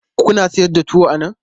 Kuna sayar da tuwo a nan?